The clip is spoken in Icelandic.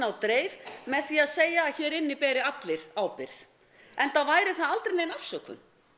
á dreif með því að segja að hér inni beri allir ábyrgð enda væri það aldrei nein afsökun